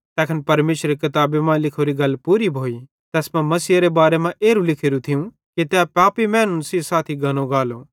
तैखन परमेशरेरी किताबी मां लिखोरी गल पूरी भोइ तैस मां मसीहेरे बारे मां एरू लिखोरू थियूं कि ते पापी मैनू केरे साथी गनो गालो